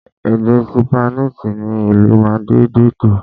Èdè Sípáníìṣì ni ìlú Màdídìrì.